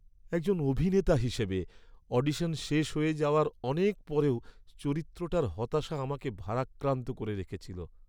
একজন অভিনেতা হিসাবে, অডিশন শেষ হয়ে যাওয়ার অনেক পরেও চরিত্রটার হতাশা আমাকে ভারাক্রান্ত করে রেখেছিল।